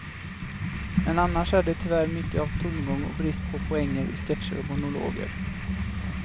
Men annars är det tyvärr mycket av tomgång och brist på poänger i sketcher och monologer.